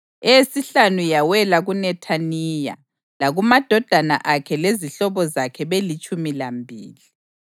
eyesihlanu yawela kuNethaniya, lakumadodana akhe lezihlobo zakhe belitshumi lambili;